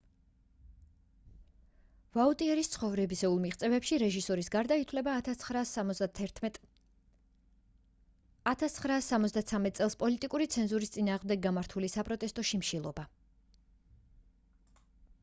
ვაუტიერის ცხოვრებისეულ მიღწევებში რეჟისურის გარდა ითვლება 1973 წელს პოლიტიკური ცენზურის წინააღმდეგ გამართული საპროტესტო შიმშილობა